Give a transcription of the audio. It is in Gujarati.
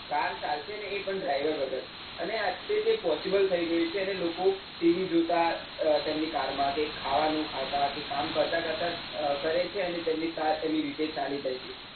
Car ચાલશે અને એ પણ driver વગર, અને આજ તો તે possible થઈ ગયું છે અને લોકો જોતા તેમની car માં કે, ખાવાનું ખાતા કે કામ કરતા કરતા કરે છે અને તેમની car તેમની રીતે ચાલી જાય છે.